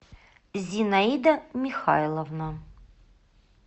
зинаида михайловна